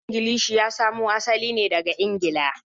Harshen Ingilishi ya samo asali ne daga Ingila.